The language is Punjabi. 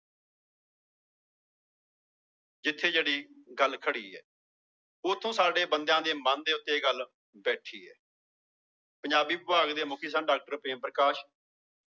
ਜਿੱਥੇ ਜਿਹੜੀ ਗੱਲ ਖੜੀ ਹੈ ਉੱਥੋਂ ਸਾਡੇ ਬੰਦਿਆਂ ਦੇ ਮਨ ਦੇ ਉੱਤੇੇ ਇਹ ਗੱਲ ਬੈਠੀ ਹੈ ਪੰਜਾਬੀ ਵਿਭਾਗ ਦੇ ਮੁੱਖੀ ਸਨ doctor ਪ੍ਰੇਮ ਪ੍ਰਕਾਸ਼,